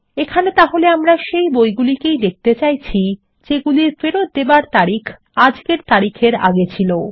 এখানে তাহলে আমরা সেই বইগুলি দেখতে চাইছি যেগুলির ফেরত দেবার তারিখ আজকের তারিখের আগে ছিল